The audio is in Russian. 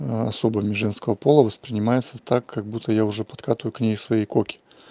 особами женского пола воспринимается так как будто я уже подкатываю к ней свои коки